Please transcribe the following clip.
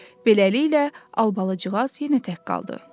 Beləliklə, Albalıcığaz yenə tək qaldı.